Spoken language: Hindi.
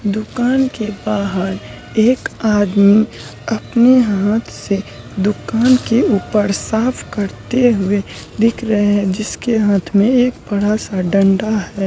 दुकान के बाहर एक आदमी अपने हाथ से दुकान के ऊपर साफ करते हुए दिख रहे हैं जिसके हाथ में एक बड़ा-सा डंडा है।